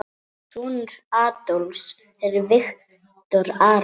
Sonur Adolfs er Viktor Aron.